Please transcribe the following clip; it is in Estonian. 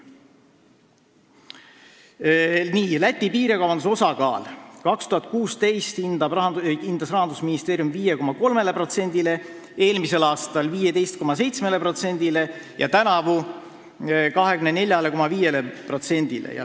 Rahandusministeerium hindab Eesti-Läti piirikaubanduse osakaalu 2016. aastal 5,3%-le, eelmisel aastal 15,7%-le ja tänavu 24,5%-le.